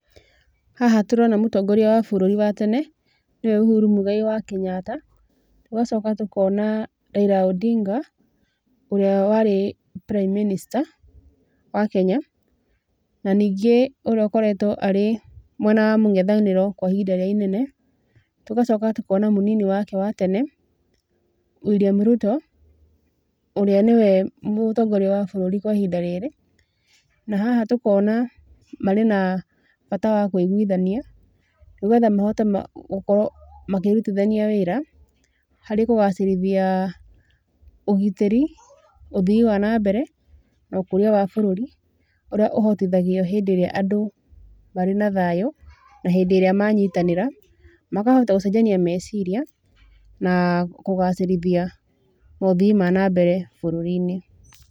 Haha tũrona mũtongoria wa bũrũri wa tene, nĩwe Uhuru Muigai wa Kenyatta, tũgacoka tũkona Raila Odinga, ũrĩa warĩ prime minister, wa Kenya, na ningĩ ũrĩa ũkoretwo arĩ mwena wa mũng'ethanĩro kwa ihinda rĩrĩa inene. Tugacoka tũkona mũnini wake wa tene, William Ruto, ũrĩa nĩwe mũtongoria wa bũrũri kwa ihinda rĩrĩ. Na haha tũkona marĩa na bata wa kũigwithania, nĩgetha mahote gũkorwo makĩrutithania wĩra, harĩ kũgacĩrithia ũgitĩri, ũthii wa na mbere, na ũkuria wa bũrũri, ũrĩa ũhotithagio hĩndĩ ĩrĩa andũ marĩ na thayũ, na hĩndĩ ĩrĩa manyitanĩra, makahota gũcenjania meciria, na kũgacĩrithia maũthii ma na mbere bũrũri-inĩ.